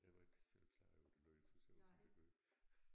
Jeg var ikke selv klar over det lød så sjovt som det gjorde